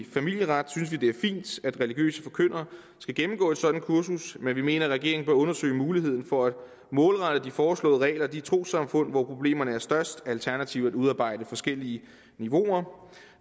familieret synes er religiøse forkyndere skal gennemgå et sådant kursus men vi mener at regeringen bør undersøge muligheden for at målrette de foreslåede regler til de trossamfund hvor problemerne er størst alternativt at udarbejde forskellige niveauer